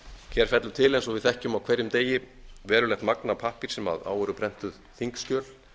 hér fellur til eins og við þekkjum á hverjum degi verulegt magn af pappír sem á eru prentuð þingskjöl